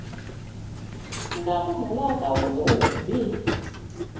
umkami unolaka olubi